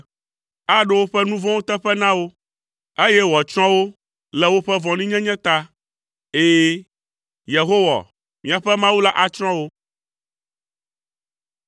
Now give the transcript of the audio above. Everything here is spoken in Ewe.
Aɖo woƒe nu vɔ̃wo teƒe na wo, eye wòatsrɔ̃ wo le woƒe vɔ̃ɖinyenye ta, ɛ̃, Yehowa, míaƒe Mawu la atsrɔ̃ wo.